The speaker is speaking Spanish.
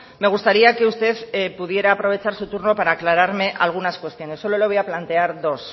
me gustaría que usted pudiera aprovechar su turno para aclararme algunas cuestiones solo le voy a plantear dos